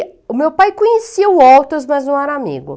o meu pai conhecia o Walters, mas não era amigo.